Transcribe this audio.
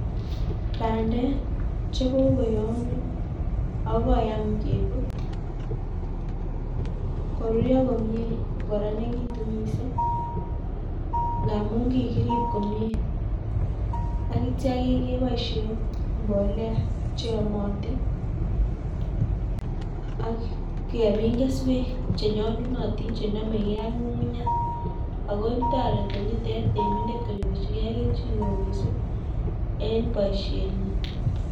Bandek cheokoyamya akoyam kebut koruryo komyie akorakanitu miising' ngaamun kikirib komyie akitcha keboisie mbolea cheyamatin ak kemin keswek chenyolunotin chenamegei ak ng'ung'unya akotoreti temindet konyorchigei kelchineo miising' eng' boisienyi